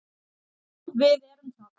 Já, við erum það.